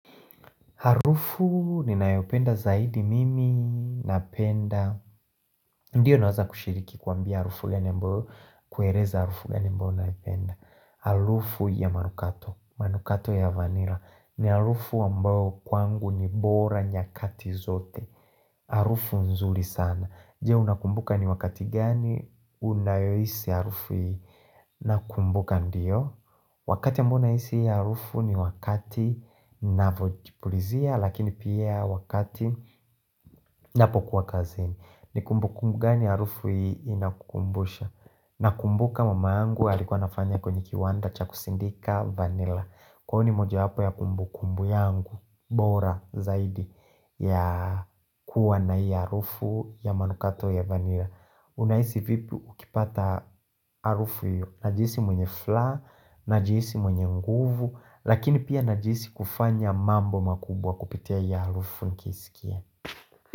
Harufu ni nayopenda zaidi mimi napenda Ndiyo naweza kushiriki kuambia harufu ya ni ambayo kueleza harufu ya nimbo naipenda Harufu ya manukato manukato ya vanila ni harufu ambao kwangu ni bora nyakati zote Harufu nzuri sana Je unakumbuka ni wakati gani Unayohisi harufu ni nakumbuka ndiyo Wakati ambayo nahisi harufu ni wakati na vojipulizia lakini pia wakati napo kuwa kazini ni kumbu kumbu gani harufu hii inakukumbusha na kumbu kama mama yangu alikuwa nafanya kwenye kiwanda cha kusindika vanilla Kwa hio ni moja yapo ya kumbu kumbu yangu bora zaidi ya kuwa na hii harufu ya manukato ya vanilla Unaisi vipi ukipata harufu hiyo Najihisi mwenye furaha, najihisi mwenye nguvu Lakini pia najihisi kufanya mambo makubwa kupitia hii harufu nikiisikia.